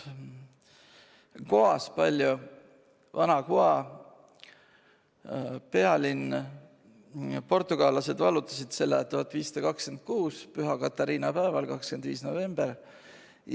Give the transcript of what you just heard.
Vana-Goa, pealinn – portugallased vallutasid selle 1526. aastal Püha Katariina päeval, 25. novembril.